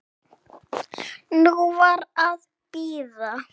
Nú var að bíða.